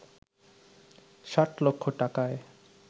ষাট লক্ষ টাকায়